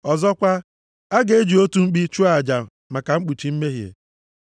Ọzọkwa, a ga-eji otu mkpi chụọ aja maka mkpuchi mmehie unu.